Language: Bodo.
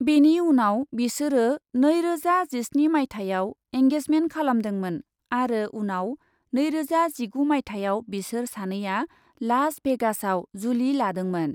बेनि उनाव बिसोरो नैरोजा जिस्नि माइथायाव एंगेजमेन्ट खालामदोंमोन आरो उनाव नैरोजा जिगु माइथायाव बिसोर सानैआ लास भेगासआव जुलि लादोंमोन।